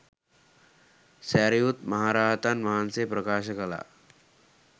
සැරියුත් මහ රහතන් වහන්සේ ප්‍රකාශ කළා.